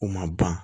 U ma ban